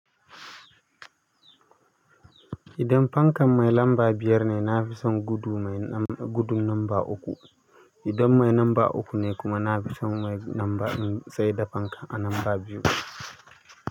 Idan fankan mai lamba biyar ne, na fi son gudu nomba uku idan mai lamba uku ne kuma, na fi son saida fanka a lamba biyu.